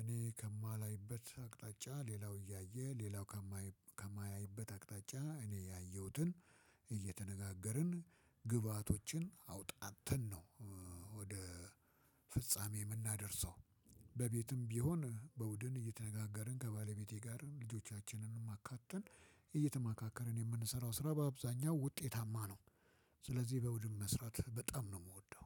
እኔ ከማላይበት አቅጣጫ ሌላው እያየ ሌላው ከማያይበት አቅጣጫ እኔ ያየሁትን እየተነጋገርን ግብአቶችን አውጣጥተን ነው ወደ ፍጻሜ የምናደርሰው። በቤትም ቢሆን በቡድን እየተነጋገርን ከባለቤቴ ጋርም ልጆቻችንንም አካተን እየተማካከርን የምንሰራው ስራ በአብዛኛው ውጤታማ ነው። ስለዚህ በቡድን መስራት በጣም ነው የምወደው።